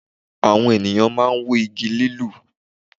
Àwọn ènìyàn máa n wú Igi lilù